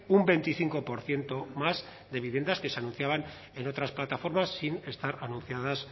un veinticinco por ciento más de viviendas que se anunciaban en otras plataformas sin estar anunciadas